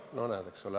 No näed, eks ole.